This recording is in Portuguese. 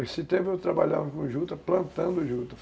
Nesse tempo eu trabalhava com junta, plantando junta.